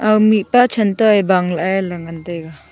mih pa chanta e bang lah e ley ngan tega.